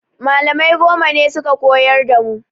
Malamai goma ne suka koyar da mu